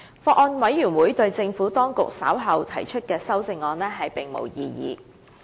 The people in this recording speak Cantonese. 法案委員會對政府當局稍後提出的修正案並無異議。